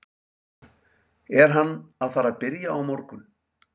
Er hann að fara að byrja á morgun?